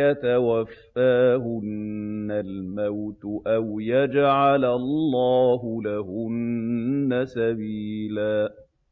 يَتَوَفَّاهُنَّ الْمَوْتُ أَوْ يَجْعَلَ اللَّهُ لَهُنَّ سَبِيلًا